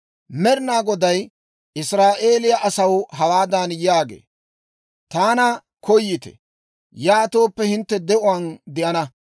Med'inaa Goday Israa'eeliyaa asaw hawaadan yaagee; «Taanna koyite; yaatooppe, hintte de'uwaan de'ana.